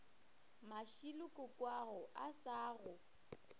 mashilo kokoago a sa go